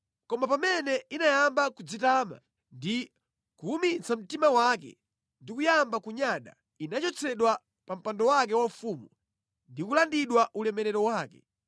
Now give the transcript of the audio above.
Koma pamene inayamba kudzitama ndi kuwumitsa mtima wake ndi kuyamba kunyada, inachotsedwa pa mpando wake waufumu ndi kulandidwa ulemerero wake.